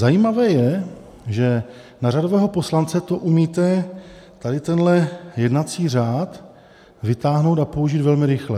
Zajímavé je, že na řadového poslance to umíte, tady tenhle jednací řád vytáhnout a použít velmi rychle.